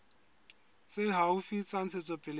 tse haufi tsa ntshetsopele ya